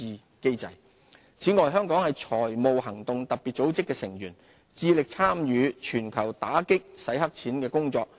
打擊清洗黑錢此外，香港是財務行動特別組織的成員，致力參與全球打擊清洗黑錢的工作。